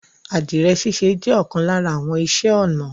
Adirẹ̀ síṣẹ̀ jẹ̀ ọkan lárà àwọn ìṣẹ̀ onà